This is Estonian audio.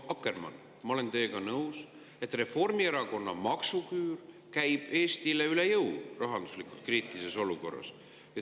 Proua Akkermann, ma olen teiega nõus, et Reformierakonna maksuküür käib Eestile üle jõu rahanduslikult kriitilises olukorras.